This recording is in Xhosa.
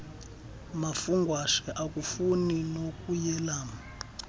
mafungwashe akafuni nokuyelam